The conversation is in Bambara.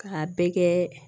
K'a bɛɛ kɛ